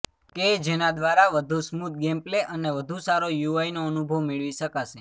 કે જેના દ્વારા વધુ સ્મૂધ ગેમ પ્લે અને વધુ સારો યુઆઈ નો અનુભવ મેળવી શકાશે